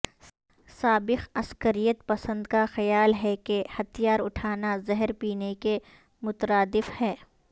سابق عسکریت پسند کا خیال ہے کہ ہتھیار اٹھانا زہر پینے کے مترادف ہے